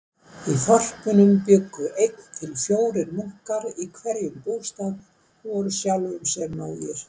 Í þorpunum bjuggu einn til fjórir munkar í hverjum bústað og voru sjálfum sér nógir.